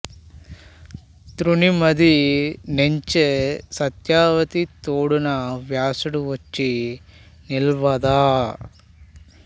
త్రుని మది నెంచె సత్యవతి తోడన వ్యాసుడు వచ్చి నిల్వ దా